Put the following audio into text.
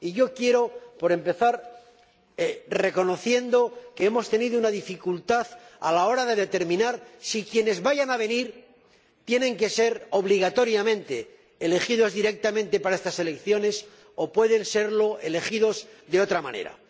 Quiero, para empezar, reconocer que hemos tenido una dificultad a la hora de determinar si quienes vayan a venir tienen que ser obligatoriamente elegidos directamente para estas elecciones o pueden ser elegidos de otra manera.